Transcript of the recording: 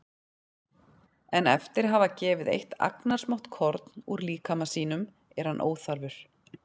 En eftir að hafa gefið eitt agnarsmátt korn úr líkama sínum er hann óþarfur.